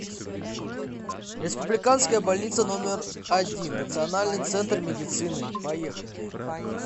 республиканская больница номер один национальный центр медицины поехали